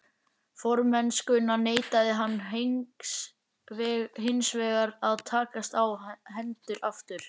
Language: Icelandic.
Formennskuna neitaði hann hinsvegar að takast á hendur aftur.